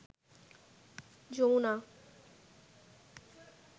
Jamuna